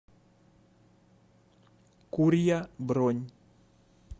курья бронь